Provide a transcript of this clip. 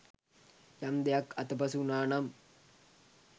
යම් දෙයක් අතපසු වුණා නම්